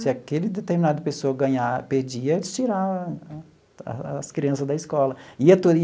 Se aquele determinado pessoal ganhar, perdia, eles tirava a as as crianças da escola.